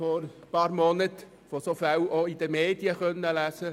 Vor einigen Monaten konnten wir von solchen Fällen auch in den Medien lesen.